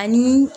Ani